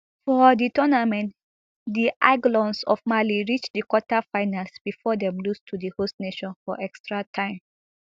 for di tournament di aiglons of mali reach di quarter finals bifor dem lose to di host nation for extra time